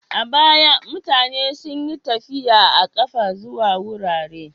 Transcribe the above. A baya, mutane sun yi tafi a ƙafa zuwa wurare.